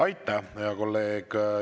Aitäh, hea kolleeg!